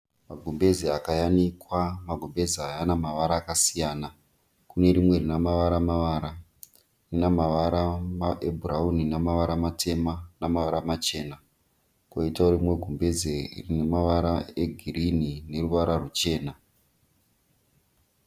Magumbezi akayanikwa, magumbezi aya ane mavara akasiyana .Kune rimwe rine mavara mavara rine mavara ebhurauni nemavara matema nemavara machena koitavo rimwe gumbezi rine mavara egirini neruvara ruchena.